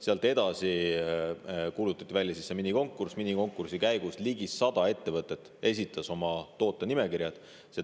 Sealt edasi kuulutati välja see minikonkurss, mille käigus ligi 100 ettevõtet esitas oma tootenimekirja.